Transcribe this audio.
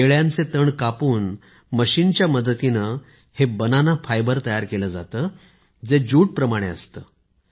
केळ्यांचे तण कापून मशीनच्या मदतीने हे फायबर तयार केलं जातं जे ज्यूट प्रमाणे असतं